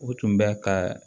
U tun bɛ ka